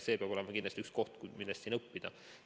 See on kindlasti üks koht, millest õppida.